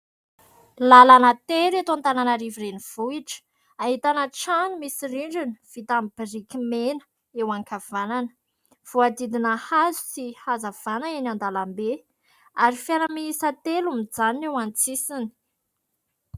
Lalana tery eto Antananarivo renivohitra. Ahitàna trano misy rindrina vita amin'ny biriky mena eo an-kavanana. Voadidina hazo sy hazavàna eny an-dalambe, ary fiara miisa telo mijanona eo an-tsisiny.